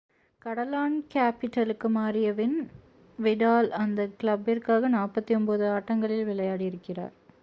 கடலான்-கேபிடலுக்கு மாறிய பின் விடால் அந்த கிளப்பிற்காக 49 ஆட்டங்களில் விளையாடி இருக்கிறார்